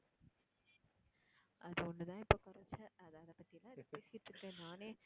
அது ஒண்ணுதா இப்போ குறைச்சல் அது அது பத்தில்லாம் இப்போ பேசிட்டு இருக்க, நானே